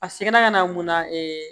A seginna ka na mun na